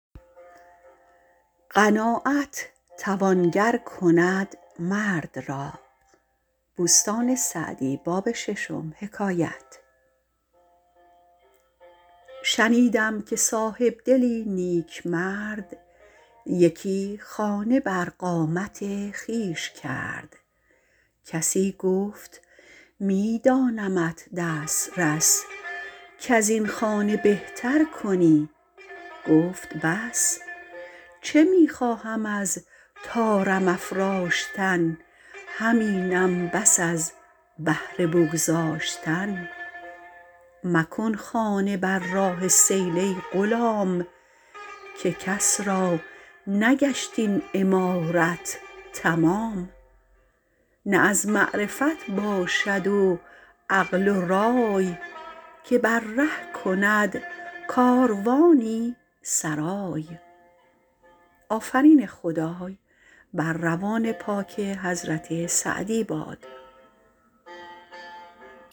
شنیدم که صاحبدلی نیکمرد یکی خانه بر قامت خویش کرد کسی گفت می دانمت دسترس کز این خانه بهتر کنی گفت بس چه می خواهم از طارم افراشتن همینم بس از بهر بگذاشتن مکن خانه بر راه سیل ای غلام که کس را نگشت این عمارت تمام نه از معرفت باشد و عقل و رای که بر ره کند کاروانی سرای